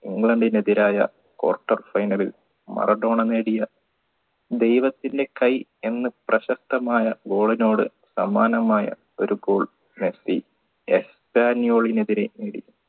ഇംഗ്ലണ്ടിനെതിരായ quarter final ൽ Maradona നേടിയ ദൈവത്തിൻറെ കൈ എന്ന പ്രശസ്തമായ goal നോട് സമാനമായ ഒരു goal മെസ്സി എസ്റ്റനിയോളിനെതിരെ